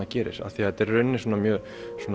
gerir af því að þetta er í rauninni mjög